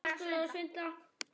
Hann lifir það þó af.